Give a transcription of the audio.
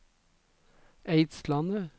Eidslandet